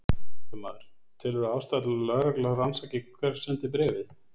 Fréttamaður: Telurðu ástæðu til að lögregla rannsaki hver sendi bréfið?